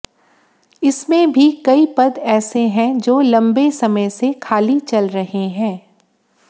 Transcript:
इसमें भी कई पद ऐसे हैं जो लंबे समय से खाली चल रहे हैं